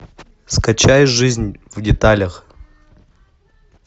скачай жизнь в деталях